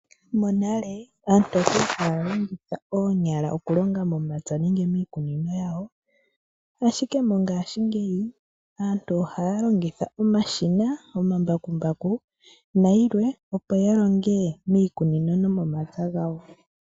Monale aantu okwali haya longitha omake okulonga momapya nenge miikunino yawo, ashike moongashi ngeyi aantu ohaye longitha omashina, omambakumbaku nayilwe opo yalonge miikunino nomomapya gawo.